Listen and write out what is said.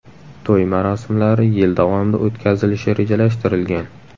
To‘y marosimlari yil davomida o‘tkazilishi rejalashtirilgan.